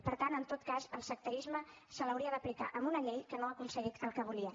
per tant en tot cas el sectarisme s’hauria d’aplicar a una llei que no ha aconseguit el que volia